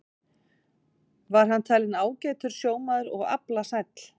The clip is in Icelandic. Var hann talinn ágætur sjómaður og aflasæll.